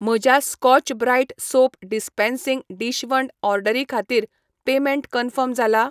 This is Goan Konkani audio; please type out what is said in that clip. म्हज्या Scotch Brite soap dispensing dishwand ऑर्डरी खातीर पेमेंट कन्फर्म जाला?